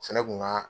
Fɛnɛ kun ka